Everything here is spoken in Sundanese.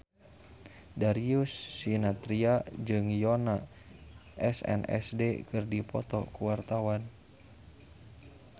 Darius Sinathrya jeung Yoona SNSD keur dipoto ku wartawan